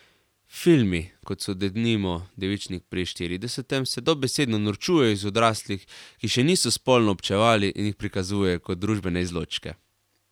Filmi, kot so denimo Devičnik pri štiridesetem, se dobesedno norčujejo iz odraslih, ki še niso spolno občevali, in jih prikazujejo kot družbene izločke.